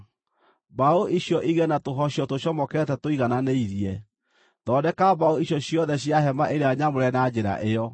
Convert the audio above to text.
mbaũ icio igĩe na tũhocio tũcomokete tũigananĩirie. Thondeka mbaũ icio ciothe cia Hema-ĩrĩa-Nyamũre na njĩra ĩyo.